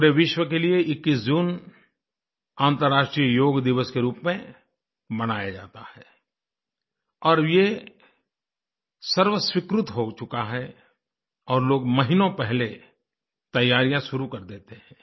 पूरे विश्व के लिए 21 जून अंतर्राष्ट्रीय योग दिवस के रूप में मनाया जाता है और ये सर्वस्वीकृत हो चुका है और लोग महीनों पहले तैयारियाँ शुरू कर देते हैं